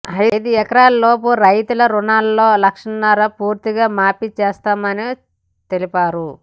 ఐదెకరాలలోపు రైతుల రుణంలో లక్షన్నర పూర్తిగా మాఫీ చేస్తామని తెలిపారు